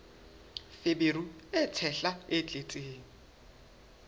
feberu e tshehla e tletseng